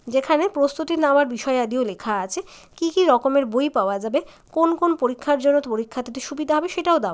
যেখানে প্রস্তুতি নেওয়ার বিষয়াদিও লেখা আছে কি কি রকমের বই পাওয়া যাবে কোন কোন পরীক্ষার জন্য পরীক্ষা দিতে সুবিধা হবে সেটাও দেওয়া আছে।